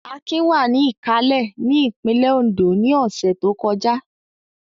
Akin wà ní Ìkálẹ̀ ní ìpínlẹ̀ Oǹdó ní ọ̀sẹ̀ tó kọjá.